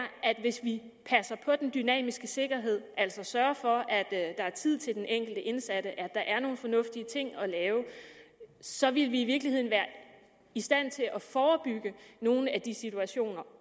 at hvis vi passer på den dynamiske sikkerhed altså sørger for at der er tid til den enkelte indsatte at der er nogle fornuftige ting at lave så vil vi i virkeligheden være i stand til at forebygge nogle af de situationer